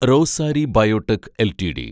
Rossari biotech LTD